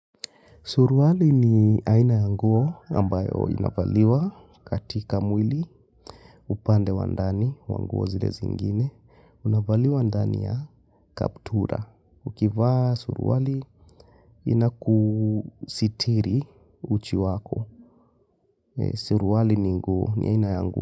Surwali ni aina ya nguo ambayo inavaliwa katika mwili upande wa ndani wa nguo zile zingine. Unavaliwa ndani ya kaptura. Ukivaa surwali inakusitiri uchi wako. Surwali ni aina ya nguo.